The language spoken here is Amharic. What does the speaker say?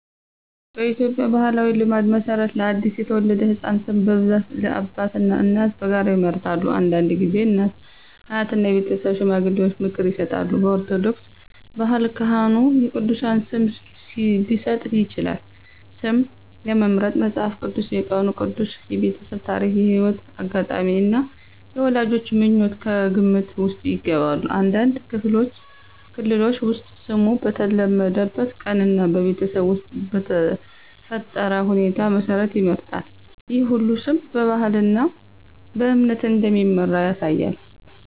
በኢትዮጵያ ባሕላዊ ልማድ መሠረት ለአዲስ የተወለደ ሕፃን ስም በብዛት አባትና እናት በጋራ ይመርጣሉ። አንዳንድ ጊዜ አያትና የቤተሰብ ሽማግሌዎች ምክር ይሰጣሉ። በኦርቶዶክስ ባህል ካህኑ የቅዱሳን ስም ሊሰጥ ይችላል። ስም ለመምረጥ መጽሐፍ ቅዱስ፣ የቀኑ ቅዱስ፣ የቤተሰብ ታሪክ፣ የሕይወት አጋጣሚ እና የወላጆች ምኞት ከግምት ውስጥ ይገባሉ። አንዳንድ ክልሎች ውስጥ ስሙ በተወለደበት ቀን እና በቤተሰብ ውስጥ በተፈጠረ ሁኔታ መሠረት ይመረጣል። ይህ ሁሉ ስም በባህልና በእምነት እንደሚመራ ያሳያል።